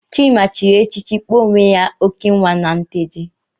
Chima chịrị echichi kpọọ onwe ya Okenwa na Nteje.